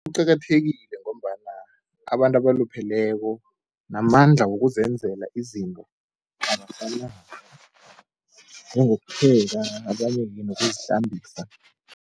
Kuqakathekile ngombana abantu abalupheleko namandla wokuzenzela izinto abasenawo, njengokupheka abanye-ke nokuzihlambisa.